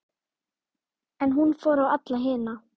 En hún fór á alla hina.